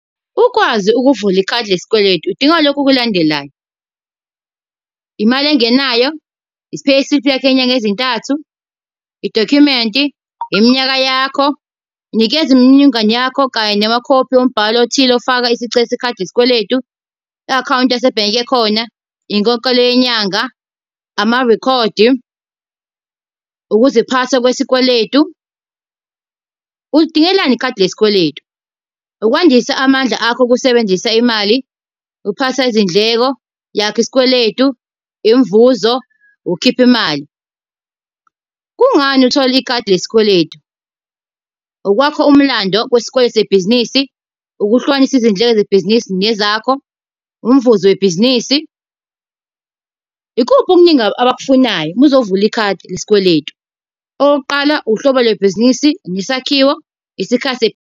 Ukwazi ukuvula ikhadi lesikweletu udinga lokhu okulandelayo. Imali engenayo, i-payslip yakho yenyanga ezintathu, idokhumenti, iminyaka yakho. Nikeza imininingwane yakho kanye namakhophi ombhalo othile ofaka isicelo sekhadi lesikweletu, i-akhawunti yasebhenki ekhona, inkokhelo yenyanga, amarekhodi ukuziphasa kwesikweletu. Ulidingelani ikhadi lesikweletu? Ukwandisa amandla akho okusebenzisa imali, ukuphasa izindleko, yakha isikweletu, imvuzo, ukukhipha imali. Kungani uthole ikhadi lesikweletu? Okwakho umlando kwesikweletu sebhizinisi, ukuhlukanisa izindleko zebhizinisi nezakho, umvuzo webhizinisi. Ikuphi okuningi abakufunayo uma uzovula ikhadi lesikweletu? Owokuqala uhlobo lwebhizinisi, nesakhiwo, isikhathi.